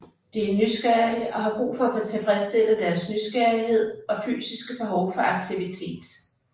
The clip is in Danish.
De er nysgerrige og har brug for at få tilfredsstillet deres nysgerrighed og fysiske behov for aktivitet